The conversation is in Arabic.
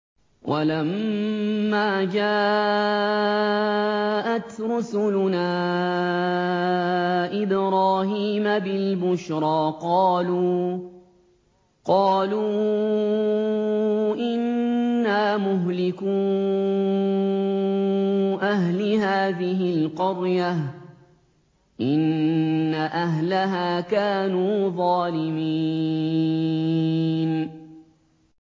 وَلَمَّا جَاءَتْ رُسُلُنَا إِبْرَاهِيمَ بِالْبُشْرَىٰ قَالُوا إِنَّا مُهْلِكُو أَهْلِ هَٰذِهِ الْقَرْيَةِ ۖ إِنَّ أَهْلَهَا كَانُوا ظَالِمِينَ